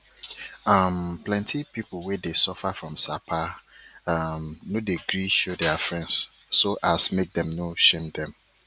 um plenty people wey dey suffer from sapa um no dey gree show their friends so as make dem no shame dem